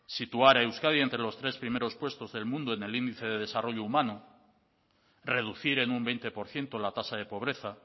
situar a euskadi entre los tres primeros puestos del mundo en el índice de desarrollo humano reducir en un veinte por ciento la tasa de pobreza